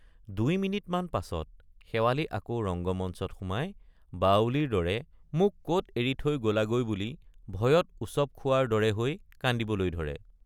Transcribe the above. দুই মিনিটমান পাছত শেৱালি আকৌ ৰঙ্গমঞ্চত সোমাই বাউলীৰ দৰে মোক কত এৰি থৈ গলাগৈ বুলি ভয়ত উচপ খোৱাৰ দৰে হৈ কান্দিবলৈ ধৰে।